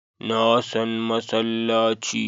Na san masallaci